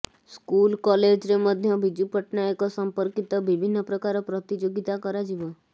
school କଲେଜରେ ମଧ୍ୟ ବିଜୁ ପଟ୍ଟନାୟକ ସଂପର୍କିତ ବିଭିନ୍ନ ପ୍ରକାର ପ୍ରତିଯୋଗୀତା କରାଯିବ